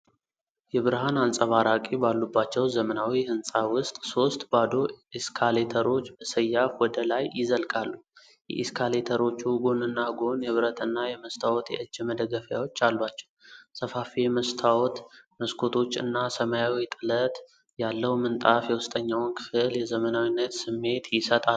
የብርሃን አንጸባራቂ ባሉባቸው ዘመናዊ ህንጻ ውስጥ ሶስት ባዶ ኤስካሌተሮች በሰያፍ ወደ ላይ ይዘልቃሉ። የኤስካሌተሮቹ ጎንና ጎን የብረትና የመስታወት የእጅ መደገፊያዎች አሏቸው። ሰፋፊ የመስታወት መስኮቶች እና ሰማያዊ ጥለት ያለው ምንጣፍ የውስጠኛውን ክፍል የዘመናዊነት ስሜት ይሰጣሉ።